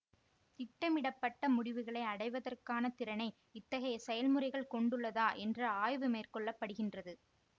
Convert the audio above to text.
திட்டமிடப்பட்ட முடிவுகளை அடைவதற்கான திறனை இத்தகைய செயல்முறைகள் கொண்டுள்ளதா என்று ஆய்வு மேற்கொள்ளப்படுகின்றது